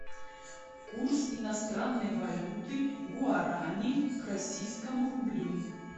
курс иностранной валюты гуарани к российскому рублю